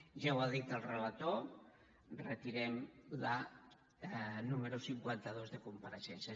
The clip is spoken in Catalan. ja ho ha dit el relator retirem la número cinquanta dos de compareixences